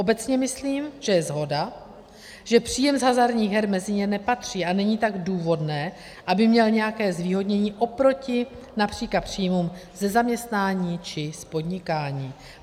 Obecně myslím, že je shoda, že příjem z hazardních her mezi ně nepatří, a není tak důvodné, aby měl nějaké zvýhodnění oproti například příjmům ze zaměstnání či z podnikání.